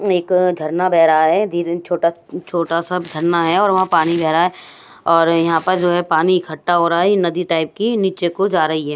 एक झरना बह रहा है धीरे छोटा छोटा सा झरना है और वहां पानी बह रहा है और यहां पर जो है पानी इकट्ठा हो रहा है नदी टाइप की नीचे को जा रही है।